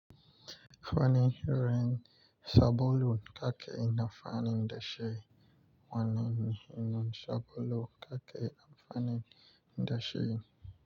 Wani rin sabulu kake na fanin dashe, wannan ina sabulu kake a fanin dashe.